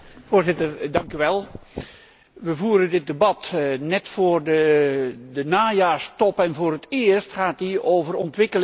We voeren dit debat net voor de najaarstop en voor het eerst gaat die over ontwikkeling en RD, en níet over de crisis.